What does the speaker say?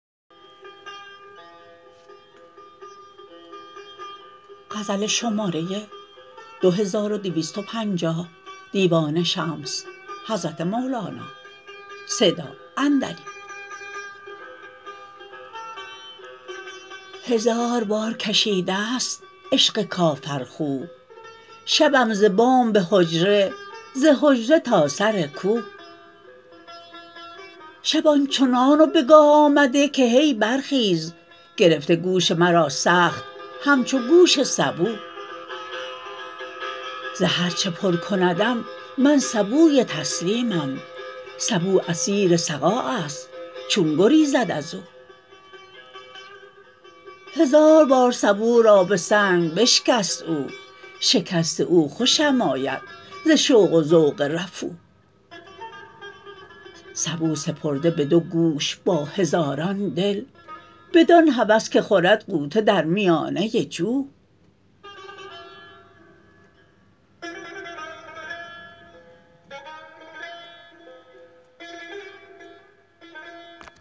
هزار بار کشیده ست عشق کافرخو شبم ز بام به حجره ز حجره تا سر کو شب آن چنان به گاه آمده که هی برخیز گرفته گوش مرا سخت همچو گوش سبو ز هر چه پر کندم من سبوی تسلیمم سبو اسیر سقایست چون گریزد از او هزار بار سبو را به سنگ بشکست او شکست او خوشم آید ز شوق و ذوق رفو سبو سپرده بدو گوش با هزاران دل بدان هوس که خورد غوطه در میانه جو